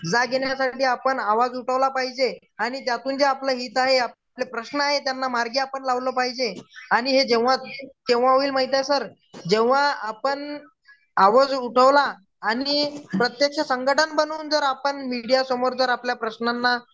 जाग येण्यासाठी आपण आवाज उठवला पाहिजे आणि ज्यातून आपलं हित आहे आणि जे आपले प्रश्न आहेत त्यांना मार्गी आपण लावलं पाहिजे आणि हे जेव्हा केंव्हा होईल माहित आहे सर जेंव्हा आपण आवाज उठवला आणि प्रत्यक्ष संघटना बनवून जर आपण मीडिया समोर जर आपल्या प्रश्नांना